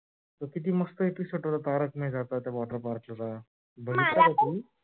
किती मस्त episode होता तारक मेहेता चा त्या water park च बघितला का? तू मला पण